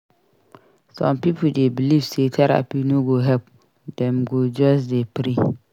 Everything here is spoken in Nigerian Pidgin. Some pipo dey believe sey therapy no go help; dem go just dey pray.